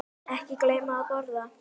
Ekki gleyma að borða.